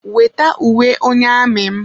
Wete uwe onye amị m!